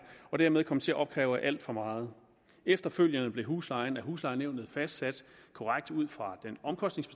og dermed kom til at opkræve alt for meget efterfølgende blev huslejen af huslejenævnet fastsat korrekt ud fra